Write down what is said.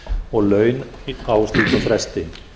og laun á slíkum fresti